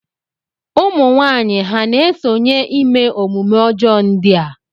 Ụmụnwaanyị ha na-esonye ime omume ọjọọ ndị a?